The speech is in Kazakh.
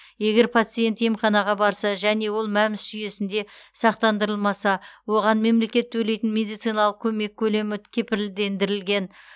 егер пациент емханаға барса және ол мәмс жүйесінде сақтандырылмаса оған мемлекет төлейтін медициналық көмек көлемі кепілдендірілген